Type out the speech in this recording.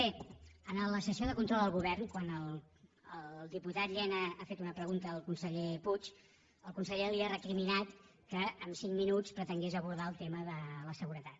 bé a la sessió de control al go·vern quan el diputat llena ha fet una pregunta al con·seller puig el conseller li ha recriminat que en cinc minuts pretengués abordar el tema de la seguretat